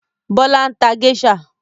Bọlá ń ta géṣà